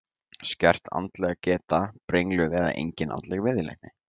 Skert andleg geta, brengluð eða engin andleg viðleitni.